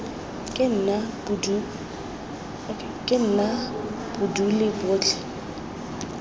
ke nna bo dule botlhe